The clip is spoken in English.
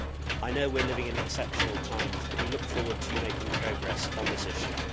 I know we are living in exceptional times but we look forward to you making progress on this issue.